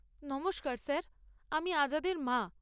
নমস্কার স্যার, আমি আজাদের মা।